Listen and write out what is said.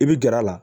I bi gɛrɛ a la